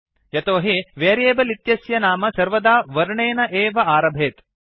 यतोहि वेरियेबल् इत्यस्य नाम सर्वदा वर्णेन एव आरभेत्